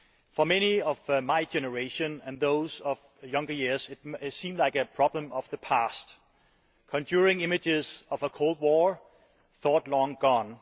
For many of my generation and those of younger years it seemed like a problem of the past, conjuring images of a Cold War thought long gone.